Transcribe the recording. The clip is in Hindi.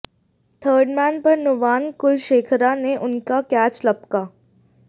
थर्डमैन पर नुवान कुलशेखरा ने उनका कैच लपका